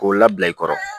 K'o labila i kɔrɔ